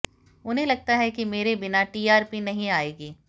उन्हें लगता है कि मेरे बिना टीआरपी नहीं आएगी